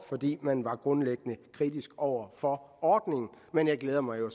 man var grundlæggende kritisk over for ordningen men jeg glæder mig jo